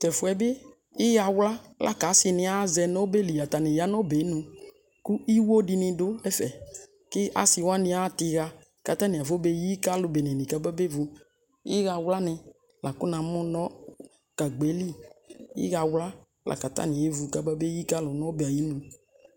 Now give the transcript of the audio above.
tɛfoe bi iha wloa lako ase ne azɛ no ɔbɛ li, atane ya no ɔbɛnu ko iwo dini do ɛfe ko ase wane atɛ iha ko atane afɔyi ko alo bene kabevu iha wloa ne la ko na mo no gagba li iha wloa lako atane evu kabeyi kalo no ɔbɛ ayi nu